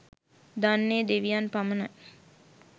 දන්නේ දෙවියන් පමණි